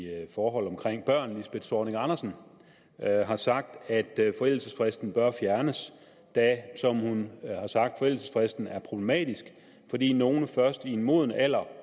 forhold omkring børn lisbeth zornig andersen har sagt at forældelsesfristen bør fjernes da som hun har sagt forældelsesfristen er problematisk fordi nogle først i en moden alder